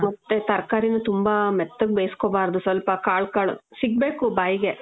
ಮತ್ತೇ ತರ್ಕಾರಿನು ತುಂಬಾ ಮೆತ್ತಗ್ ಬೇಸ್ಕೋಬಾರ್ದು. ಸ್ವಲ್ಪ ಕಾಳ್ ಕಾಳು ಸಿಗ್ಬೇಕು ಬಾಯ್ಗೆ.